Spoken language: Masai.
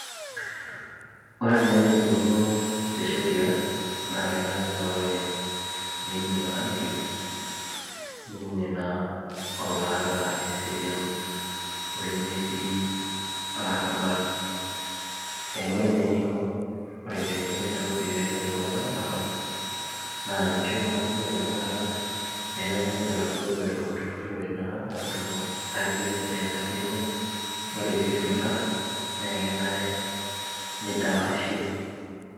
Ore naa enikuno te sheria naa kenare paa ore tenebung'i olamayio neibung'i naa oloota eseriani olemetii olorrabal ee ore naa eneiko okerenket le Nairobi pee elo aibooyo olarrabal naa keisho naake ore enakata peeku ore oladuo orere oiturrurrote naa aatumo aitetea haki enye naa ore pee eiteru olarrabal neidapashi